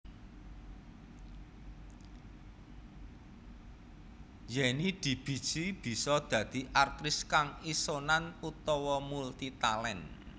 Yenny dibiji bisa dadi aktris kang isonan utawa multi talent